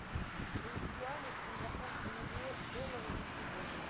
курс юаня к сингапурскому доллару на сегодня